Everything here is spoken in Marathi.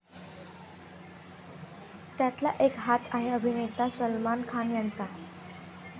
त्यातला एक हात आहे अभिनेता सलमान खान याचा.